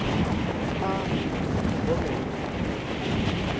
amba u ṱhogomela mufumakadzi ane